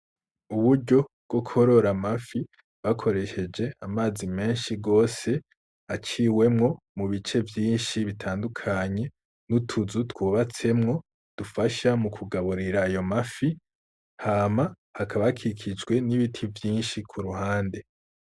Uburyo bwo korora amafi bakoresheje amazi menshi gose aciwemwo mu bice vyinshi bitandukanye, n'utuzu twubatsemwo dufasha mu kugaburira ayo mafi hama hakaba hakikijwe n'ibiti vyinshi ku ruhande.